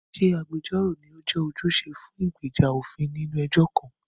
Ṣé agbẹjọ́rò ni ó jẹ́ ojúṣe fún ìgbèjà òfin nínú ẹjọ́ kan?